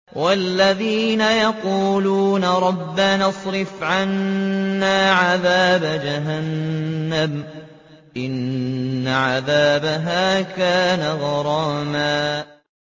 وَالَّذِينَ يَقُولُونَ رَبَّنَا اصْرِفْ عَنَّا عَذَابَ جَهَنَّمَ ۖ إِنَّ عَذَابَهَا كَانَ غَرَامًا